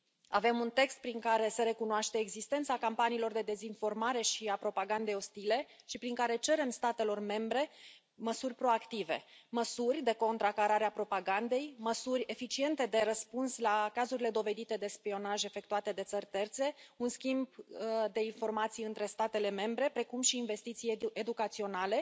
Avem un text prin care se recunoaște existența campaniilor de dezinformare și a propagandei ostile și prin care cerem statelor membre măsuri proactive, măsuri de contracarare a propagandei, măsuri eficiente de răspuns la cazurile dovedite de spionaj efectuate de țări terțe, un schimb de informații între statele membre, precum și investiții educaționale